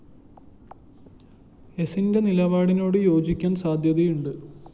എസിന്റെ നിലപാടിനോട് യോജിക്കാന്‍ സാധ്യതയുണ്ട്